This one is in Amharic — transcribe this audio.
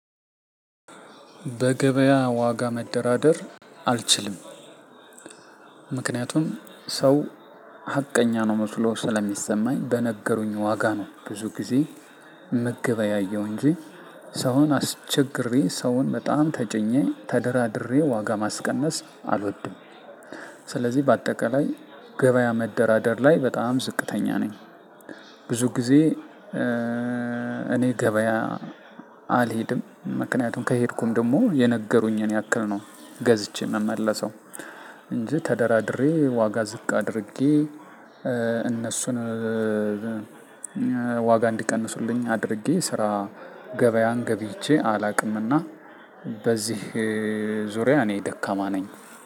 በገበያ ዋጋ መደራደር አልችልም። ምክንያቱም ሰው ሀቀኛ ነው መስሎ ስለሚሰማኝ በነገሩኝ ዋጋ ነው ብዙ ጊዜ ምግበያየው እንጂ ሰውን አስቸግሬ ሰውን በጣም ተጨኘኝ ተደራድሬ ዋጋ ማስቀነስ አልወድም። ስለዚህ በአጠቃላይ ገበያ መደራደር ላይ በጣም ዝቅተኛ ነኝ። ብዙ ጊዜ እኔ ገበያ አልሄድም ምክንያቱም ከሄድኩም ደግሞ የነገሩኝን ያክል ነው ገዝቼ የምመለሰው። እንጂ ተደራድሬ ዋጋ ዝቅ አድርጌ እነሱን ዋጋ እንዲቀንሱልኝ አድርጌ ስራ ገበያን ገብይቼ አላውቅምና። በዚህ ዙሪያ እኔ ደካማ ነኝ።